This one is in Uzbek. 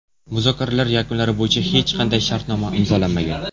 Muzokaralar yakunlari bo‘yicha hech qanday shartnoma imzolanmagan.